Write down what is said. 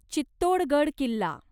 Chittorgarh Killa